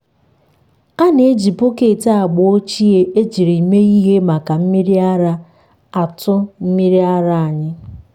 a na-eji bọket agba ochie ejiri mee ihe maka mmiri ara atụ mmiri ara anyị.